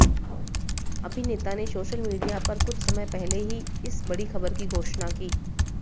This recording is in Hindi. अभिनेता ने सोशल मीडिया पर कुछ समय पहले ही इस बड़ी खबर की घोषणा की